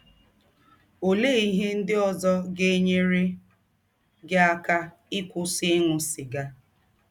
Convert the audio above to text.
Ọlee ihe ndị ọzọ ga - enyere gị aka ịkwụsị ịṅụ sịga?